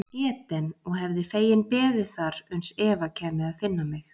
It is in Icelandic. Eden og hefði feginn beðið þar uns Eva kæmi að finna mig.